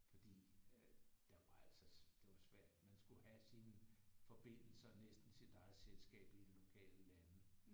Fordi at der var altså det var svært man skulle have sine forbindelser næsten sit eget selskab i lokale lande